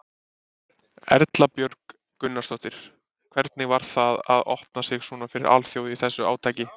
Erla Björg Gunnarsdóttir: Hvernig var það að opna sig svona fyrir alþjóð í þessu átaki?